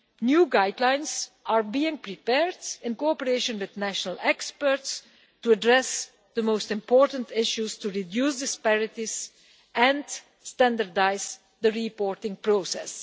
New guidelines are being prepared in cooperation with national experts to address the most important issues to reduce disparities and standardise the reporting process.